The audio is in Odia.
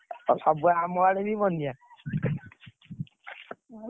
ଆଉ ସବୁ ଆମଆଡେ ବି ବନ୍ୟା।